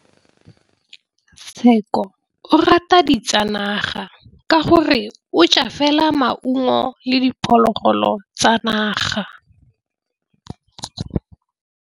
Tshekô o rata ditsanaga ka gore o ja fela maungo le diphologolo tsa naga.